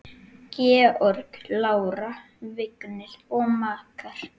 Georg, Lára, Vignir og makar.